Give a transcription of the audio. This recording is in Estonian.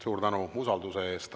Suur tänu usalduse eest!